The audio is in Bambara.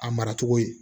A mara cogo ye